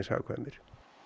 hagkvæmir